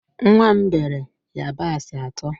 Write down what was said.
Nwa m beere yabasị atọ